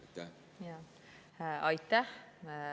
Aitäh!